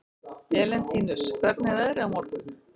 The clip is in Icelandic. Elentínus, hvernig er veðrið á morgun?